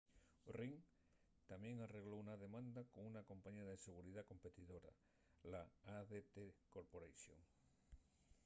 ring tamién arregló una demanda con una compañía de seguridá competidora l'adt corporation